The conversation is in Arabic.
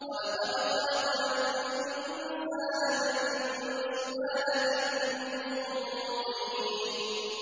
وَلَقَدْ خَلَقْنَا الْإِنسَانَ مِن سُلَالَةٍ مِّن طِينٍ